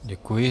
Děkuji.